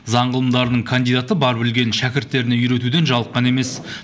заң ғылымдарының кандидаты бар білгенін шәкірттеріне үйретуден жалыққан емес